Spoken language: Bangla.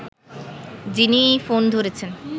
যিনি ফোন ধরেছেন